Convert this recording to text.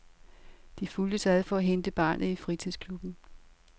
De fulgtes ad for at hente barnet i fritidsklubben.